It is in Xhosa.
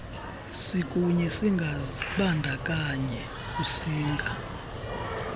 sikunye singazibandakanyi kusinga